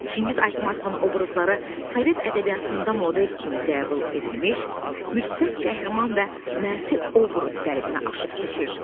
Çingiz Aytmatovun obrazları sovet ədəbiyyatında model kimi qəbul edilmiş, müsbət qəhrəman və mənfi obraz qəlibini aşıb keçir.